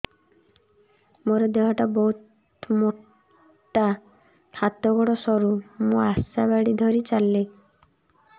ମୋର ଦେହ ଟା ବହୁତ ମୋଟା ହାତ ଗୋଡ଼ ସରୁ ମୁ ଆଶା ବାଡ଼ି ଧରି ଚାଲେ